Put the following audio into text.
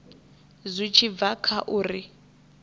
zwi tshi bva kha uri